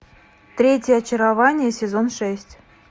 третье очарование сезон шесть